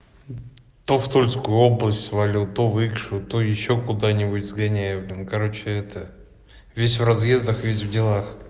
то в тульскую область валюта в икшу то ещё куда-нибудь сгоняю блин короче это весь в разъездах весь в делах